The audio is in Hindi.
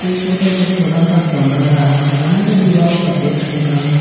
इस फोटो में एक छोटा सा कमरा है यहां का दीवाल सफेद रंग का है।